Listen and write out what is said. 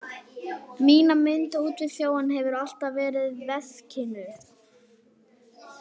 Mína mynd út við sjóinn hef ég alltaf í veskinu.